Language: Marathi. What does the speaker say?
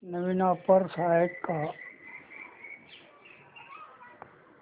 नवीन ऑफर्स आहेत का